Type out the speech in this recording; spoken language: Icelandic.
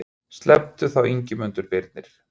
Sleppti þá Ingimundur Birni.